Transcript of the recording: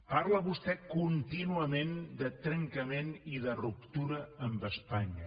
parla vostè contínuament de trencament i de ruptura amb espanya